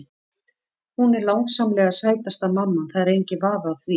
Hún er langsamlega sætasta mamman, það er enginn vafi á því.